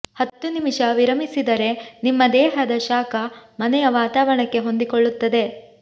ಹತ್ತು ನಿಮಿಷ ವಿರಮಿಸಿದರೆ ನಿಮ್ಮ ದೇಹದ ಶಾಖ ಮನೆಯ ವಾತಾವರಣಕ್ಕೆ ಹೊಂದಿಕೊಳ್ಳುತ್ತದೆ